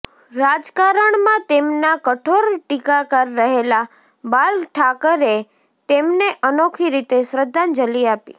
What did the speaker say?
રાજકારણમાં તેમનાં કઠોર ટીકાકાર રહેલા બાલ ઠાકરેએ તેમને અનોખી રીતે શ્રદ્ધાંજલિ આપી